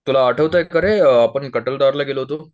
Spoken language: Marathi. तुला आठवतय का रे आपण कठलदार ला गेलो होतो